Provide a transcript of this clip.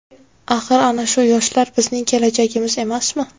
Axir ana shu yoshlar bizning kelajagimiz emasmi?